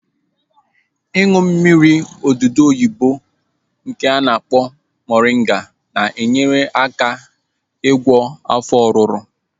Ịṅụ mmiri odudu oyibo nke a na-akpọ moringa na-enyere aka n'igwọ afọ ọruru